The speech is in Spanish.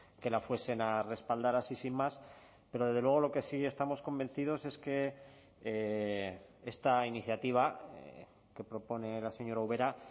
que la fuesen a respaldar así sin más pero desde luego lo que sí estamos convencidos es que esta iniciativa que propone la señora ubera